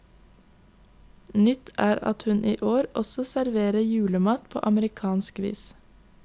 Nytt er at hun i år også serverer julemat på amerikansk vis.